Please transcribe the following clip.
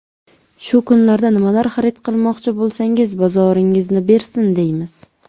Shu kunlardan nimalar xarid qilmoqchi bo‘lsangiz, bozoringizni bersin, deymiz!